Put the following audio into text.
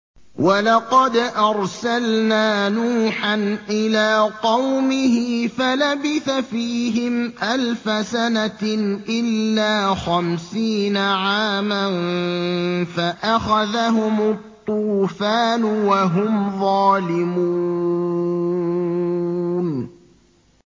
وَلَقَدْ أَرْسَلْنَا نُوحًا إِلَىٰ قَوْمِهِ فَلَبِثَ فِيهِمْ أَلْفَ سَنَةٍ إِلَّا خَمْسِينَ عَامًا فَأَخَذَهُمُ الطُّوفَانُ وَهُمْ ظَالِمُونَ